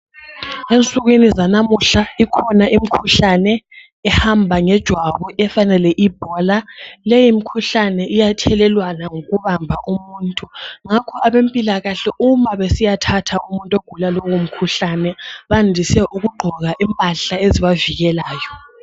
Ensukwini zanamuhla ikhona imkhuhlane ehamba ngejwabu efana le ibhola lemkhuhlane iyathelelwana ngokubamba umuntu ngakho abempilakahle uma mabesiya thatha umuntu ogula lowo mkhuhlane bandise ukuqgoka impahla ezibavikelayo